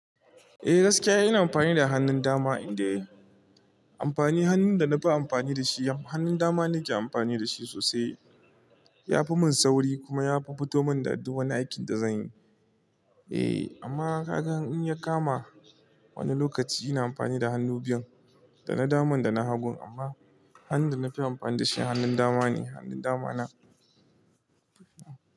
Eh gaskiya ina amfani da hannun dama, idan un, amfani hannun da na fi amfani da shi hannun dama ne ke amfani da shi sosai. Ya fi mun sauri kuma ya fi fitowa da duk wani aikin da zan yi. Eh amma ka ga in ya kama wani lokaci ina amfani da hannu biyun, da na daman da na hagun amma hannun da na fi amfani da shi hannun dama ne. Hannun dama na.